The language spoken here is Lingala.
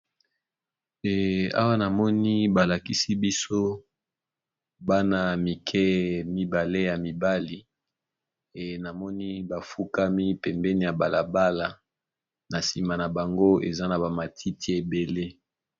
Awa namoni balakisi biso bana mike ya mibali bafukami na balabala